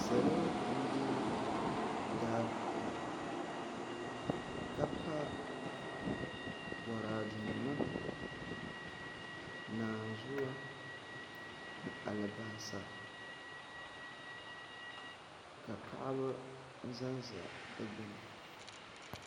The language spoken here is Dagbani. Salo n bɛ daa puuni ka pa Boraadɛ nima naanzuwa ni alibarisa ka paɣaba ʒɛnʒɛ di gbuni